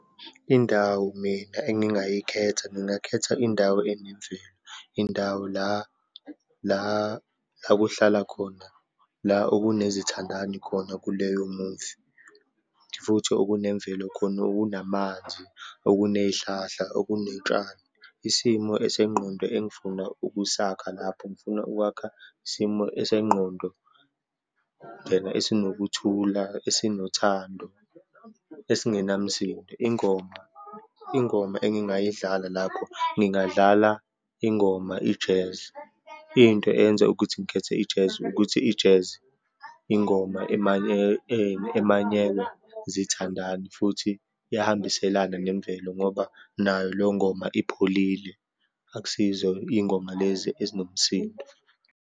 Indawo mina engingayikhetha, ngingakhetha indawo enemvelo. Indawo la la la kuhlala khona la okunezithandani khona kuleyomuvi, futhi okunemvelo khona, okunamanzi, okuneyihlahla, okuneyitshalo. Isimo sengqondo engifuna ukusakha lapho, ngifuna ukwakha isimo esengqondo esinokuthula, esinothando, esingenamsindo. Ingoma, ingoma engingayidlala lapho, ngingadlala ingoma i-jazz. Into eyenza ukuthi ngikhethe i-jazz, ukuthi i-jazz ingoma emanyelwa zithandani futhi iyahambiselana nemvelo, ngoba nayo leyo ngoma ipholile, akusiyizo iy'ngoma lezi ezinomsindo.